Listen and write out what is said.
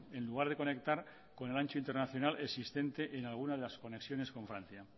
en lugar de conectar con el ancho internacional existente en alguna de las conexiones con francia